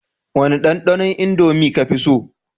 Wane dandanon indomie kafi so?